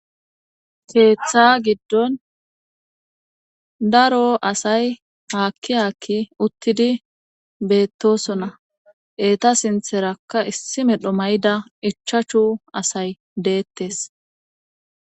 Keeththa giddon daro asay haakki haakki uttidi beettosona eta sintherakka issi medho may'ida ichachu asay deettes.